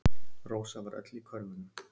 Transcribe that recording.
Rósa var öll í körfunum.